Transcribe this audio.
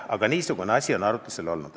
Aga niisugune asi on arutlusel olnud.